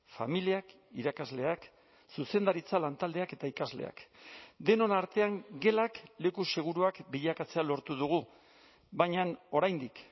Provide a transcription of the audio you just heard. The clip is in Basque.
familiak irakasleak zuzendaritza lantaldeak eta ikasleak denon artean gelak leku seguruak bilakatzea lortu dugu baina oraindik